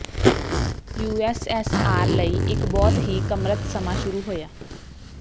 USSR ਲਈ ਇੱਕ ਬਹੁਤ ਹੀ ਕਮਰਤ ਸਮਾਂ ਸ਼ੁਰੂ ਹੋਇਆ